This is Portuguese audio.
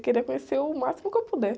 Queria conhecer o máximo que eu puder.